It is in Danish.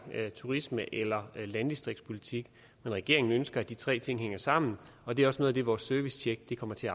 turist eller landdistriktspolitik regeringen ønsker at de tre ting hænger sammen og det er også noget af det vores servicetjek kommer til